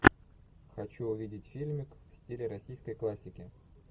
хочу увидеть фильмик в стиле российской классики